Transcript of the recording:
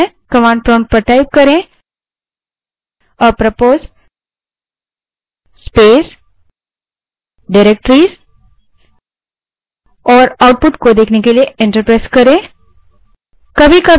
command prompt पर apropos space directories type करें और output देखने के लिए enter दबायें